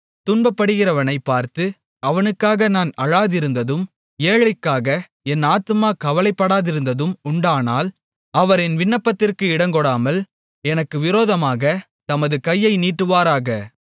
துன்பப்படுகிறவனைப் பார்த்து அவனுக்காக நான் அழாதிருந்ததும் ஏழைக்காக என் ஆத்துமா கவலைப்படாதிருந்ததும் உண்டானால் அவர் என் விண்ணப்பத்திற்கு இடங்கொடாமல் எனக்கு விரோதமாகத் தமது கையை நீட்டுவாராக